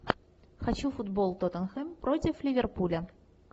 хочу футбол тоттенхэм против ливерпуля